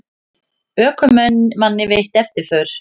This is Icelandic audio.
Ökumanni veitt eftirför